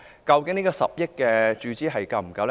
究竟10億元的注資是否足夠？